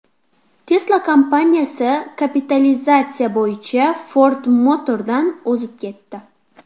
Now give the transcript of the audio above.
Tesla kompaniyasi kapitalizatsiya bo‘yicha Ford Motor’dan o‘zib ketdi.